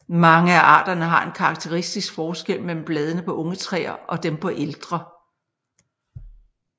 Mange af arterne har en karakteristisk forskel mellem bladene på unge træer og dem på ældre